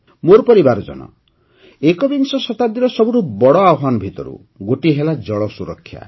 ମୋର ପରିବାରଜନ ଏକବିଂଶ ଶତାବ୍ଦୀର ସବୁଠୁ ବଡ଼ ଆହ୍ୱାନ ଭିତରୁ ଗୋଟିଏ ହେଲା ଜଳ ସୁରକ୍ଷା